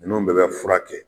Ninnu bɛɛ bɛ fura kɛ